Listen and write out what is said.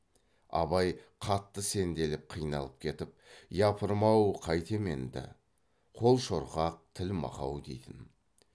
абай қатты сенделіп қиналып кетіп япырмау қайтем енді қол шорқақ тіл мақау дейтін